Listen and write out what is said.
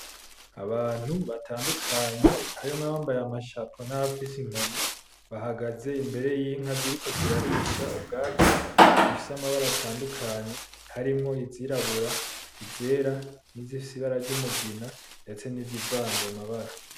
Abantu batandukanye, harimwo abambaye amashapo n'abafise inkoni. Bahagaze imbere y'inka ziriko zirarisha ubwatsi, zifise amabara atandukanye. Harimwo izirabura, izera, n'izifise ibara ry'umugina, ndetse n'izivanze amabara.